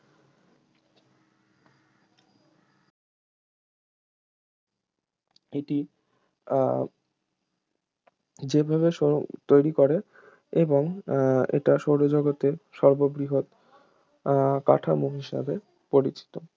এটি আর যেভাবে সো তৈরী করে এবং এটা সৌরজগতের সর্ববৃহৎ আহ কাঠামো হিসেবে পরিচিত